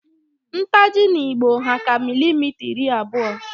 Ntaji 'n'igbo hà ka milimita iri abụọ